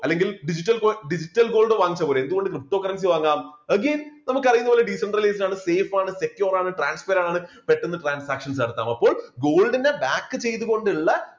അല്ലെങ്കിൽ digital gold digital gold വാങ്ങിച്ച പോലെ എന്തുകൊണ്ട് ptocurrency വാങ്ങാം നമുക്കറിയുന്നതു പോലെ decentralized ആണ് safe ആണ് secure ആണ് transper ആണ് പെട്ടന്ന് transactions നടത്താം അതുപോലെ gold നെ back ചെയ്തു കൊണ്ട് ഉള്ള